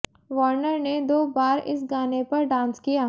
Warner ने दो बार इस गाने पर डांस किया